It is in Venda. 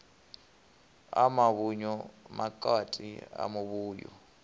a muvhuyu makwati a muvhuyu